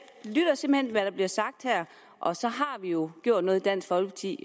lytter simpelt hvad der bliver sagt her og så har vi jo gjort noget i dansk folkeparti